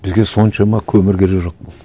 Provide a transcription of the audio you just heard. бізге соншама көмір керегі жоқ болды